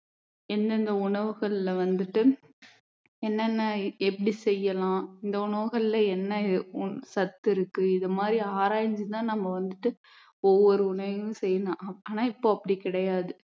எந்தெந்த உணவுகளில வந்துட்டு என்னென்ன எப்படி செய்யலாம் இந்த உணவுகளில என்ன சத்து இருக்கு இது மாதிரி ஆராய்ஞ்சு தான் நம்ம வந்துட்டு ஒவ்வொரு உண்வையும் செய்யணும் ஆனால் இப்போ அப்படி கிடையாது